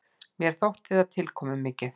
Mér þótti það tilkomumikið.